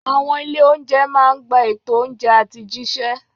Àwọn ilé-oúnjẹ máa ń gba ètò oúnjẹ àti jíṣẹ́.